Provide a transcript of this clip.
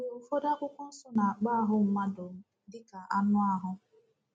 Mgbe ụfọdụ Akwụkwọ Nsọ na-akpọ ahụ mmadụ dịka “ anụ ahụ. ”